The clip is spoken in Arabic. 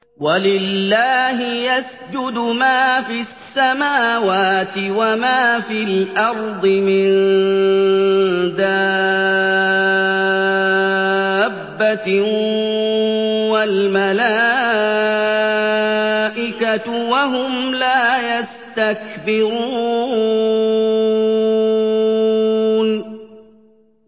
وَلِلَّهِ يَسْجُدُ مَا فِي السَّمَاوَاتِ وَمَا فِي الْأَرْضِ مِن دَابَّةٍ وَالْمَلَائِكَةُ وَهُمْ لَا يَسْتَكْبِرُونَ